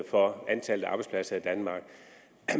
for antallet af arbejdspladser i danmark